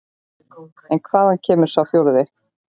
En hvaðan kemur sá forði?